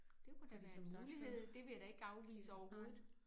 Det kunne da være en mulighed. Det vil jeg da ikke afvise overhovedet